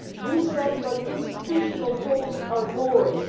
You said that institutional talks are boring.